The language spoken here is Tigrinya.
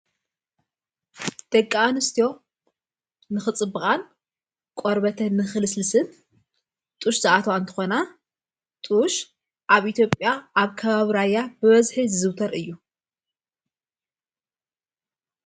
ደቂኣንስትዮ ንኽጽብቓን ቖርበተ ንኽልስልስን ጡሽ ዝኣቶው ኣንተኾና ጥሽ ኣብ ኢቲጴያ ኣብ ካባብራያ ብወዝሀት ዝዝውተር እዩ::